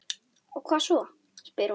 Og hvað svo, spyr hún.